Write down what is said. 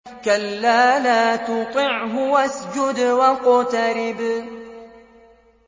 كَلَّا لَا تُطِعْهُ وَاسْجُدْ وَاقْتَرِب ۩